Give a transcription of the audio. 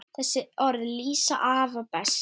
Þessi orð lýsa afa best.